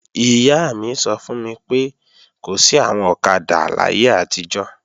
Ìyá mi sọ fún mi pé, kò sí àwọn ọ̀kadà láyé àtijọ́